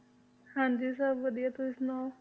ਹਾਂਜੀ ਸਭ ਵਧੀਆ ਤੁਸੀਂ ਸੁਣਾਓ?